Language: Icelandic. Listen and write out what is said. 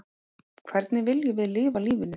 Hvernig viljum við lifa lífinu?